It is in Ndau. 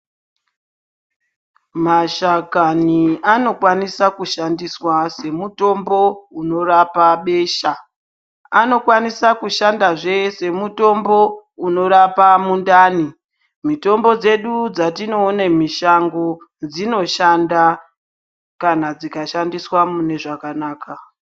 Mashakani anokwanisa kushandiswa semutombo unorapa besha anokwanisa kushandazve semutombo unorapa mindani. Mitombo dzedu dzatinoona mushango dzinoshanda kana dzikashandiswa munezvakanaka